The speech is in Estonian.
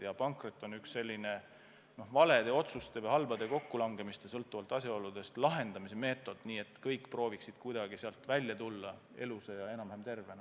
Ja pankrot on üks valede otsuste või halbade kokkulangemiste – sõltuvalt asjaoludest – lahendamise meetod, mille abil kõik proovivad sealt kuidagi välja tulla elusa ja enam-vähem tervena.